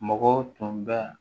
Mɔgɔw tun bɛ